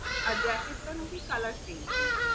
আর jacket টা নাকি colour changing ।